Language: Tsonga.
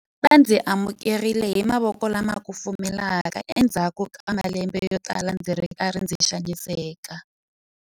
Va ndzi amukerile hi mavoko lama kufumelaka endzhaku ka malembe yotala ndzi ri karhi ndzi xaniseka.